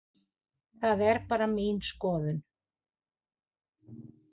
Það er bara mín skoðun.